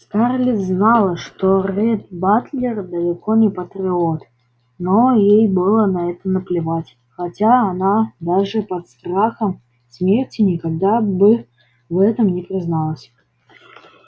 скарлетт знала что ретт батлер далеко не патриот но ей было на это наплевать хотя она даже под страхом смерти никогда бы в этом не призналась